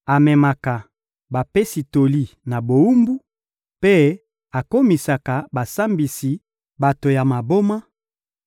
Amemaka bapesi toli na bowumbu mpe akomisaka basambisi bato ya maboma;